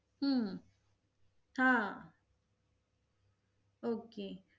हम्म हा. ok